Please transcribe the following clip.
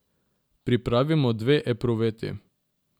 Pripravimo dve epruveti.